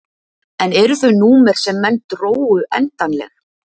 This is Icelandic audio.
En eru þau númer sem menn drógu endanleg?